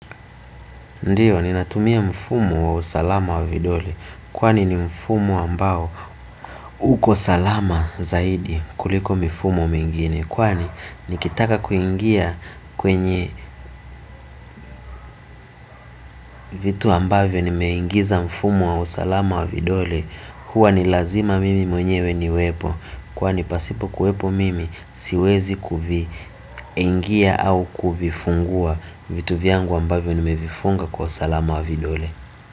Ndiyo ninatumia mfumo wa usalama wa vidole. Kwani ni mfumo ambao uko salama zaidi kuliko mifumo mingine. Kwani nikitaka kuingia kwenye vitu ambavyo nimeingiza mfumo wa usalama wa vidole hua ni lazima mimi mwenyewe niwepo. Kwani pasipo kuhepo mimi siwezi kuvi ingia au kuvifungua vitu viangu ambavyo ni mevifunga kwa usalama wa vidole.